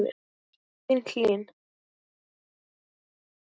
Þín Hlín.